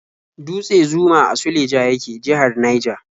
Dutse Zuma a Suleja yake, jihar Naija.